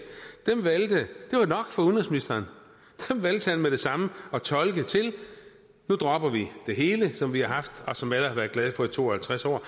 var udenrigsministeren dem valgte han med det samme at tolke til nu dropper vi det hele som vi har haft og som alle har været glade for i to og halvtreds år